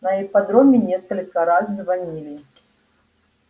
на ипподроме несколько раз звонили